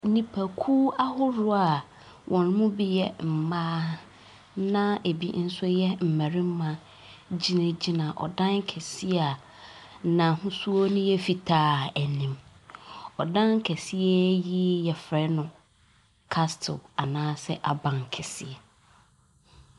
Nnipakuw ahoroɔ a wɔn mu bi yɛ mmaa na ebi nso yɛ mmarima gyinagyina ɔdan kɛseɛ a n'ahosu no yɛ fitaa anim. Ɔdan kɛseɛ yi yɛfrɛ castle anaasɛ abankɛseɛ.